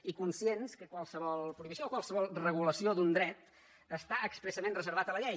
i conscients que qualsevol prohibició o qualsevol regulació d’un dret està expressament reservat a la llei